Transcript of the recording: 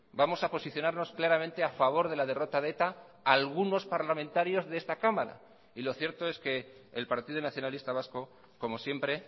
vamos a posicionarnos claramente a favor de la derrota de eta algunos parlamentarios de esta cámara y lo cierto es que el partido nacionalista vasco como siempre